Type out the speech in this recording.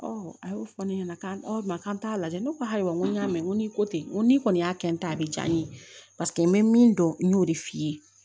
a y'o fɔ ne ɲɛna k'an t'a lajɛ ne ko ayiwa n ko y'a mɛn ko ni ko tɛ n ko ni kɔni y'a kɛ n ta a bɛ diya n ye paseke n bɛ min dɔn n y'o de f'i ye